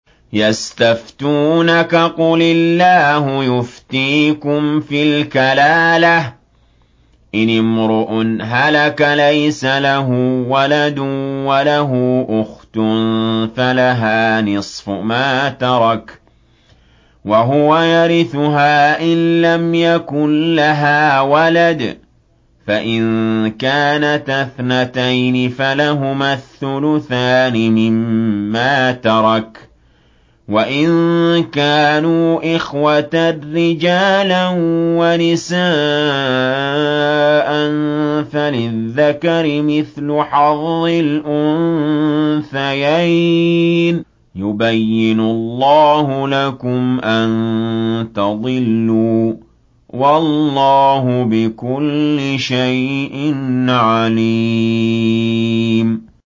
يَسْتَفْتُونَكَ قُلِ اللَّهُ يُفْتِيكُمْ فِي الْكَلَالَةِ ۚ إِنِ امْرُؤٌ هَلَكَ لَيْسَ لَهُ وَلَدٌ وَلَهُ أُخْتٌ فَلَهَا نِصْفُ مَا تَرَكَ ۚ وَهُوَ يَرِثُهَا إِن لَّمْ يَكُن لَّهَا وَلَدٌ ۚ فَإِن كَانَتَا اثْنَتَيْنِ فَلَهُمَا الثُّلُثَانِ مِمَّا تَرَكَ ۚ وَإِن كَانُوا إِخْوَةً رِّجَالًا وَنِسَاءً فَلِلذَّكَرِ مِثْلُ حَظِّ الْأُنثَيَيْنِ ۗ يُبَيِّنُ اللَّهُ لَكُمْ أَن تَضِلُّوا ۗ وَاللَّهُ بِكُلِّ شَيْءٍ عَلِيمٌ